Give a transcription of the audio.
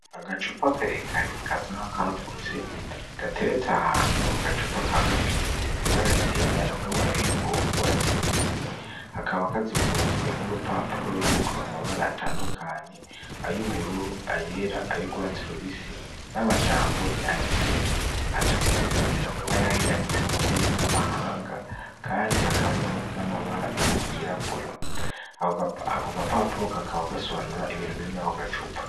Agacupa akarekare ka sanka kagutse gateretse ahantu aka gacupa kagafise baragera n'umufunikow urwatsi lubisi hakaba akazungurutswe n'urupapuro rriko amabara atandukanye ayoubururu ayera ayo ugwatsi lubisi n'amajambo yanditse atukuye n'ayandi aa ditse mu ndimi z'amahanga, kandi hakaba arimo n'amabara yirabura ako gapapulo kakaba gasobanura ibintu birime ako gacupa.